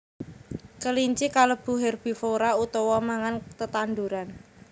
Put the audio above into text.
Kelinci kalebu herbivora utawa mangan tetanduran